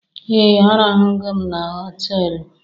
Ee! Arahụnugo m na họtelu.